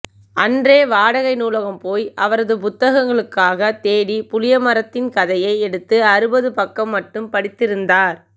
அன்றே வாடகை நூலகம் போய் அவரது புத்தகங்களுக்காகத் தேடி புளியமரத்தின் கதையை எடுத்து அறுபது பக்கம் மட்டும் படித்திருந்தார்